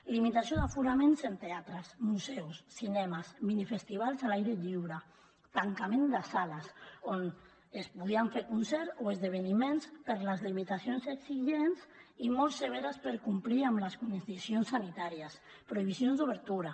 limitació d’aforaments en teatres museus cinemes minifestivals a l’aire lliure tancament de sales on es podien fer concerts o esdeveniments per les limitacions exigents i molt severes per complir amb les condicions sanitàries prohibicions d’obertura